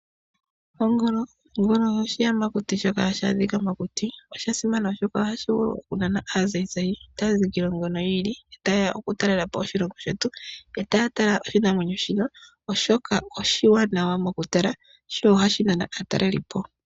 Ongolo oshiyamakuti shoka hashi adhika mokuti. Osha simana oshoka oha shinana aazazayi, taya zi kiilongo yiili, ta yeya oku talelapo oshilongo shetu, eta ya tala oshinamwenyo shika oshoka oshiwanawa mokutala.